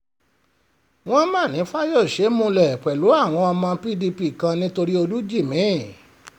wọ́n mà ní fáyọ́ṣe múlẹ̀ pẹ̀lú àwọn ọmọ pdp kan nítorí olùjìmì fídíò